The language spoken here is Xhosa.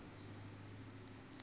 uku ba kanjalo